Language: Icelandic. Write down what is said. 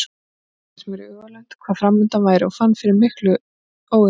Ég gat ekki gert mér í hugarlund hvað framundan væri og fann fyrir miklu óöryggi.